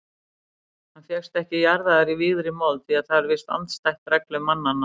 Hann fékkst ekki jarðaður í vígðri mold því það er víst andstætt reglum mannanna.